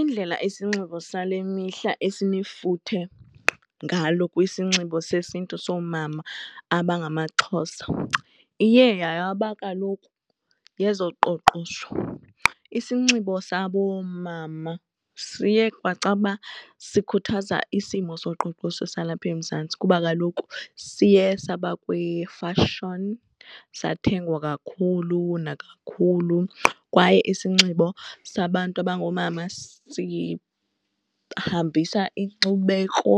Indlela isinxibo sale mihla esinefuthe ngalo kwisinxibo sesiNtu soomama abangamaXhosa iye yaba kaloku yezoqoqosho. Isinxibo sabomama siye kwacaba sikhuthaza isimo soqoqosho salapha eMzantsi kuba kaloku siye saba kwifashoni, sathengwa kakhulu nakakhulu kwaye isinxibo sababantu abangoomama sihambisa inkcubeko